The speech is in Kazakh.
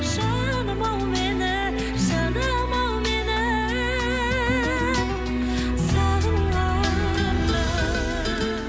жаным ау мені жаным ау мені сағынғанда